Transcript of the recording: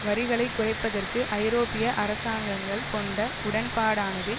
வரிகளை குறைப்பதற்கு ஐரோப்பிய அரசாங்கங்கள் கொண்ட உடன்பாடானது